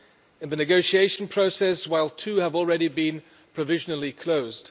in the negotiation process while two have already been provisionally closed.